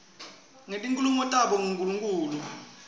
ngetinkholelo tabo kunkulunkhulu